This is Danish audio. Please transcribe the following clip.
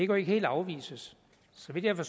jo ikke helt afvises så vidt jeg har